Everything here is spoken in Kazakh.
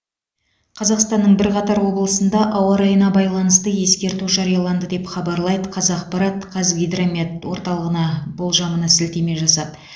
қазақстанның бірқатар облысында ауа райына байланысты ескерту жарияланды деп хабарлайды қазақпарат қазгидромет орталығына болжамына сілтеме жасап